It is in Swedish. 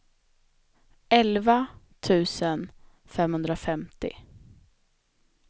elva tusen femhundrafemtio